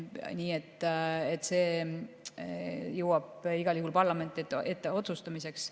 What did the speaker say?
Nii et see jõuab igal juhul parlamendi ette otsustamiseks.